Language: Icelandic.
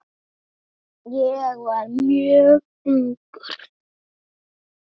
Ég var mjög ungur.